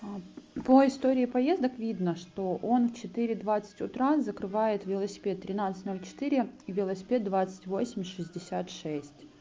по истории поездок видно что он в четыре двадцать утра закрывает велосипед тринадцать ноль четыре и велосипед двадцать восемь шестьдесят шесть